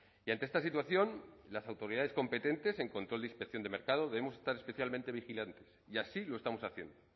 y ante esta situación las autoridades competentes en control de inspección de mercado debemos estar especialmente vigilantes y así lo estamos haciendo